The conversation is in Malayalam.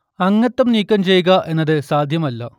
അംഗത്വം നീക്കം ചെയ്യുക എന്നത് സാധ്യമല്ല